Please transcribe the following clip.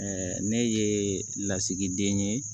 ne ye lasigiden ye